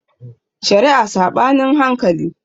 Shari'a Saɓanin hankali